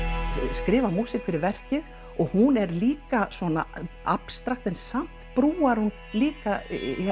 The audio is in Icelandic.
skrifar músík fyrir verkið og hún er líka svona abstrakt en samt brúar hún líka